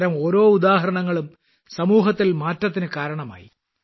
അത്തരം ഓരോ ഉദാഹരണങ്ങളും സമൂഹത്തിൽ മാറ്റത്തിന് കാരണമായി